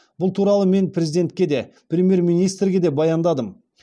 бұл туралы мен президентке де премьер министрге де баяндадым